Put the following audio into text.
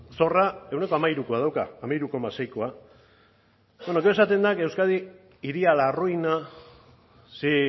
zorra ehuneko hamairukoa dauka hamairu koma seikoa bueno gero esaten da que euskadi iría a la ruina si